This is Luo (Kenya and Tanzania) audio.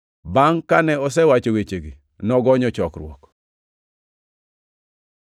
Bangʼ kane osewacho wechegi, nogonyo chokruok.